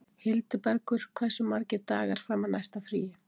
Hildibergur, hversu margir dagar fram að næsta fríi?